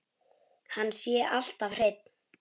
Hann sé alltaf hreinn.